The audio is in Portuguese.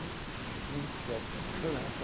Eita, mesmo insucesso com a palavra.